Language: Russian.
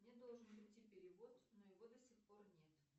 мне должен придти перевод но его до сих пор нет